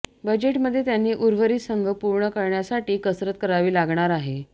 बजेटमध्ये त्यांनी उर्वरित संघ पूर्ण करण्यासाठी कसरत करावी लागणार आहे